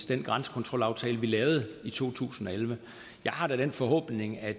den grænsekontrolaftale vi lavede i to tusind og elleve jeg har da den forhåbning at